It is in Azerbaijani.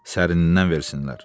Sərinnən versinlər.